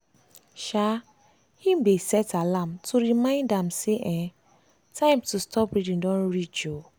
um him dey set alarm to remind am say um time to stop reading don reach. um